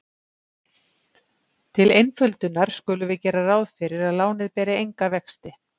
Til einföldunar skulum við gera ráð fyrir að lánið beri enga vexti.